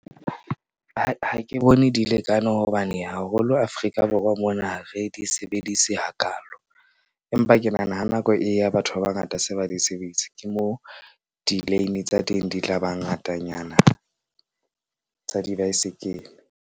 Ha ke bone di lekane hobane haholo Afrika Borwa mona re di sebedise hakaalo, empa ke nahana ha nako e ya batho ba bangata se ba di sebedisa, ke moo di lane tsa teng di tla ba ngatanyana tsa dibaesekele.